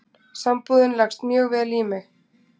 Sambúðin leggst mjög vel í mig